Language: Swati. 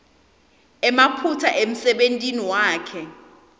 emaphutsa emsebentini wakhe